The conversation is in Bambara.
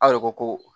Aw de ko ko